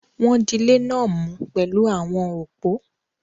Wọ́n dilé náà mú pẹ̀lú àwọn òpó.